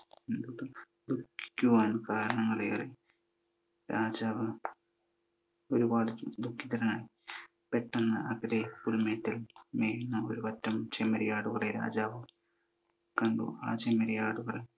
ദുഖിക്കുവാൻ കാരണങ്ങളേറെ. രാജാവ് ഒരുപാടു ദുഃഖിതനാണ്. പെട്ടെന്ന് അകലെ ഒരു മേട്ടിൽ മേയുന്ന ഒരു പറ്റം ചെമ്മരിയാടുകളെ രാജാവ് കണ്ടു. ആ ചെമ്മരിയാടുകൾ